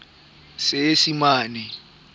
seesimane